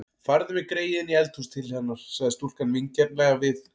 Farðu með greyið inní eldhús til hennar, sagði stúlkan vingjarnlega við